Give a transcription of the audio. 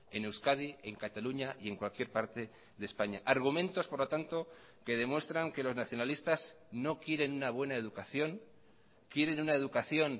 en euskadi en cataluña y en cualquier parte de españa argumentos por lo tanto que demuestran que los nacionalistas no quieren una buena educación quieren una educación